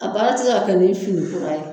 A baara tɛ se ka kɛ ni fini kura ye.